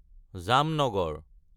Jamnagar